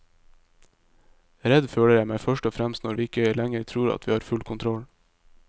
Redd føler jeg meg først og fremst når vi ikke lenger tror at vi har full kontroll.